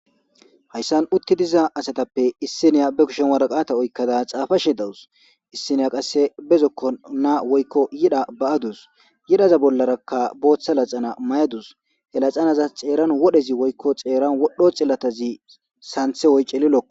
hayssan utti diza asatappe issiniya be kushen waraqata oykkada xaafa she dawus issiniya qasse bezokko naa woykko yida ba7adus yidaza bollarakka booththa laxana may7adus yalaxanaza xeeran wodhezi woykko xeeran wodho xillatazi santhe woycelilokka